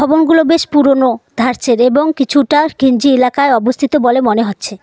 ভবনগুলো বেশ পুরোনো ধার্চের এবং কিছুটা ঘিঞ্চি এলাকায় অবস্থিত বলে মনে হচ্ছে।